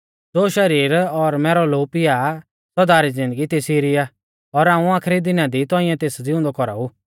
ज़ो मैरौ शरीर और मैरौ लोऊ पिया आ सौदा री ज़िन्दगी तेसी री आ और हाऊं आखरी दिना दी तौंइऐ तेस ज़िउंदौ कौराऊ